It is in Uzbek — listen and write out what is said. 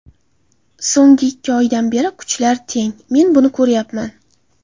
So‘nggi ikki oydan beri kuchlar teng, men buni ko‘ryapman.